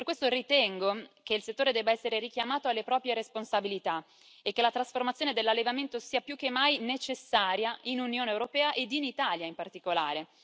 Per questo ritengo che il settore debba essere richiamato alle proprie responsabilità e che la trasformazione dell'allevamento sia più che mai necessaria in Unione europea ed in Italia, in particolare.